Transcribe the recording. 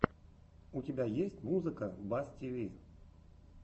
у тебя есть музыка бас тиви